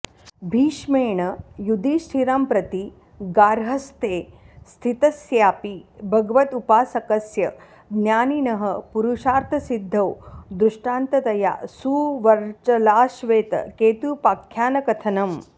भीष्मेण युधिष्ठिरंप्रति गार्हस्थ्ये स्थितस्यापि भगवदुपासकस्य ज्ञानिनः पुरुषार्थसिद्धौ दृष्टान्ततया सुवर्चलाश्वेतकेतूपाख्यानकथनम्